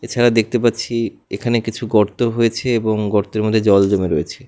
যা দেখতে পাচ্ছি এখানে কিছু গর্ত হয়েছে এবং গর্তের মধ্যে জল জমে রয়েছে।